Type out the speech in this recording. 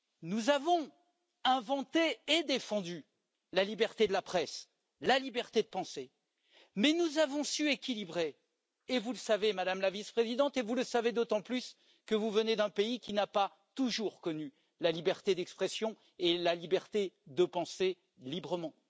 Nous avons inventé et défendu la liberté de la presse et la liberté de penser, mais nous avons su équilibrer vous le savez Madame la Vice présidente, d'autant plus que vous venez d'un pays qui n'a pas toujours connu la liberté d'expression et la liberté de penser librement